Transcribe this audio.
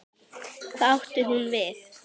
Hvað átti hún við?